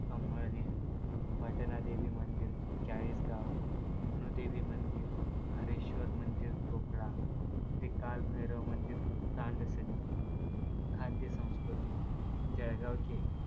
अमळनेर, पटणा देवी मंदिर, चाळीसगाव, मनुदेवी मंदिर, हरेश्वर मंदिर चोपडा, श्री कालभैरव मंदिर, तांगसेंनी, खाद्य संस्कृती जळगाव चे